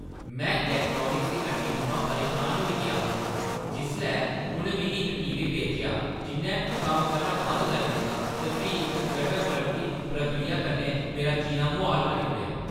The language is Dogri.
में इलैक्ट्रॉनिक्स दी हट्टी थमां परेशान होई गेआ हा जिसलै उʼनें मिगी इक टीवी बेचेआ जिʼन्नै कम्म करना बंद करी दित्ता ते फ्ही इक जटल वारंटी प्रक्रिया कन्नै मेरा जीना मुहाल करी ओड़ेआ।